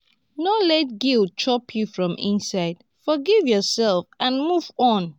no let guilt chop you from inside forgive yourself and move on